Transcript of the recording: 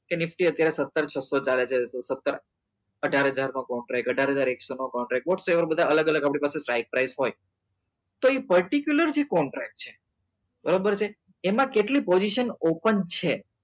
કે nifty અત્યારે સત્તર છસો ચાર હજાર સત્તર અઢાર હજાર નો contract અઢાર હજાર એકસો નો contractwhat's ever બધા અલગ અલગ આપડી પાસે strick price હોય તો એ particular contract છે બરાબર છે એમાં કેટલી position open છે